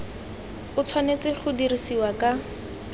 o tshwanetse go dirisiwa ka